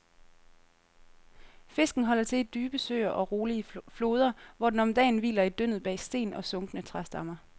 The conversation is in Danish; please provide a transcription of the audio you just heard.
Fisken holder til i dybe søer og rolige floder, hvor den om dagen hviler i dyndet bag sten og sunkne træstammer.